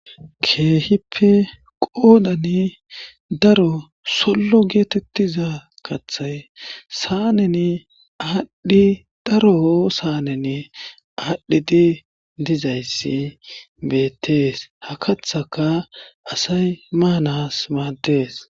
Keehippe qoodani daro sollo geetettiza kathay saaneni aadhdhi daro saaneni aadhdhidi dizayssi beettees ha kathaka asay maanas maaddees.